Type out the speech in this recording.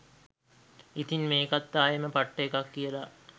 ඉතින් මේකත් ආයෙම පට්ට එකක් කියලා